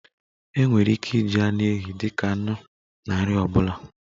E nwere ike iji anụ ehi dika anụ na nri ọbụla